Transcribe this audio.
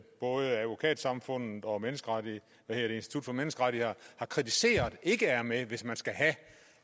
både advokatsamfundet og institut for menneskerettigheder har kritiseret ikke er med hvis man skal have